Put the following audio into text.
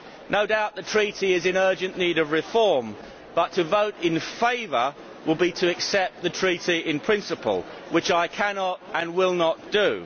No doubt the Treaty is in urgent need of reform, but to vote in favour will be to accept the Treaty in principle, which I cannot and will not do.